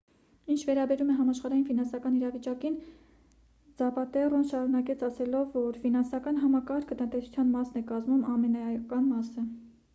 ինչ վերաբերում է համաշխարհային ֆինանսական իրավիճակին ձապատեռոն շարունակեց ասելով որ․«ֆինանսական համակարգը տնտեսության մասն է կազմում՝ ամենաէական մասը»։